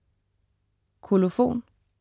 Kolofon